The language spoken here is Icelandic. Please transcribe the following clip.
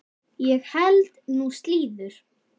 Ég held nú slíður!